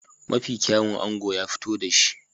Mafi kyawun ango ya fito da shi.